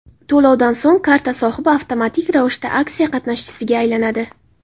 To‘lovdan so‘ng karta sohibi avtomatik ravishda aksiya qatnashchisiga aylanadi.